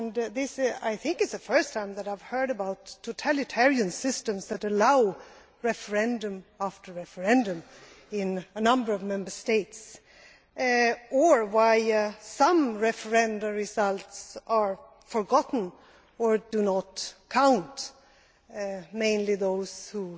This is the first time I have heard about totalitarian systems that allow referendum after referendum in a number of Member States, and why some referenda results are forgotten or do not count mainly those that